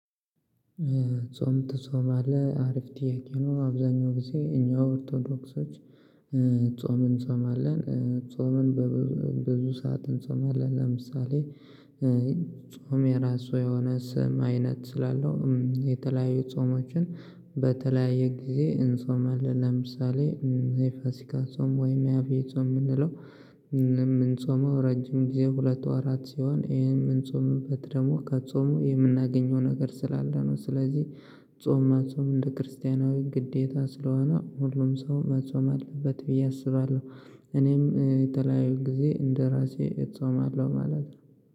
ጾም ትጾማለህ አሪፍ ጥያቄ ነው? አብዛኛው ጊዜ እኛ ኦርቶዶክሶች ጾም እንጾማለን እ ጾምን በብዙ ብዙ ሰዓት እንጾማለን። ለምሳሌ እ ጾም የራሱ የሆነ ስም አይነት ስላለው እም የተለያዩ ጾምችን በተለያየ ጊዜ እንጾማለን። ለምሳሌ የፋሲካ ጾም ወይም የአቢይ ጾም የምንለው የምንጾመው ረጅም ጊዜ ሁለት ወራት ሲሆን ይሄ የምንጾምበት ደግሞ ከጾሙ የምናገኘው ነገር ስላለ ነው። ስለዚህ ጾም መጾም እንደ ክርስቲያናዊ ግዴታ ስለሆነ ሁሉም ሰው መጾም አለበት ብዬ አስባለሁ። እኔም እ የተለያዩ ጊዜ እንደራሴ እጾማለሁ ማለት ነው